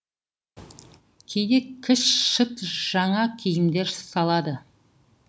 кейде кіл шыт жана киімдер салады